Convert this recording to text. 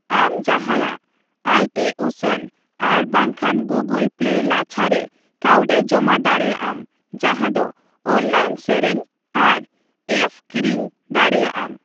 ᱟᱢ ᱡᱟᱦᱟᱭᱟᱜ ᱟᱭᱴᱤᱩᱥᱚᱱ ᱟᱨᱵᱟᱝᱠᱷᱟᱱ ᱜᱩᱜᱩᱞ ᱯᱞᱮ ᱞᱟᱪᱷᱟ ᱨᱮ ᱠᱟᱣᱰᱤ ᱡᱚᱢᱟ ᱫᱟᱲᱮᱭᱟᱜ ᱟᱢ ᱡᱟᱦᱟ ᱫᱚ ᱚᱱᱞᱟᱭᱤᱱ ᱥᱮᱨᱮᱧ ᱟᱨ ᱮᱯᱷ ᱠᱤᱨᱤᱧ ᱫᱟᱨᱮᱭᱟᱜ ᱟᱢ ᱾